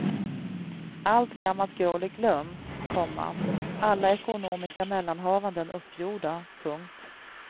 Allt gammalt groll är glömt, komma alla ekonomiska mellanhavanden uppgjorda. punkt